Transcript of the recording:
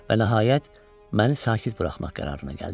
Və nəhayət məni sakit buraxmaq qərarına gəldi.